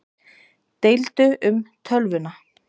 Deildu um tölvuna